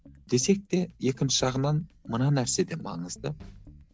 десек те екінші жағынан мына нәрсе де маңызды